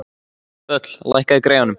Þöll, lækkaðu í græjunum.